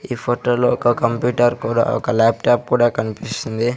ఈ ఫోటో లో ఒక కంప్యూటర్ కూడా ఒక లాప్ టాప్ కూడా కనిపిస్తుంది.